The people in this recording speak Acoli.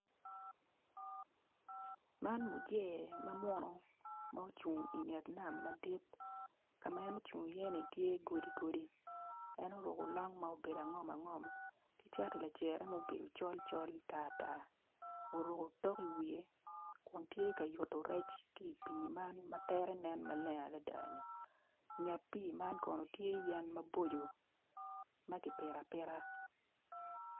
Man muse ma munu ma ocung inget nam madit kama en ocungo i ye tye godi godi en oruko long ma obedo angom ngom cati lajiro ma obedo macol col matar tar oruko tok i wiye kun tye kaa yuto rec ki pi man matere nen maleng adada nget pi man kono tye yen maboco maki pito apita.